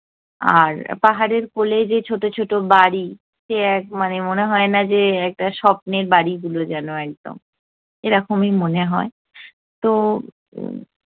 আর পাহাড়ের কোলে যে ছোটো ছোটো বাড়ি, সে এক মানে মনে হয় না যে একটা স্বপ্নের বাড়িগুলো যেনো একদম, এরকমই মনে হয়। তো উম